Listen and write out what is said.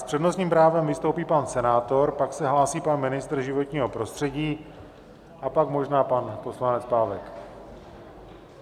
S přednostním právem vystoupí pan senátor, pak se hlásí pan ministr životního prostředí a pak možná pan poslanec Pávek.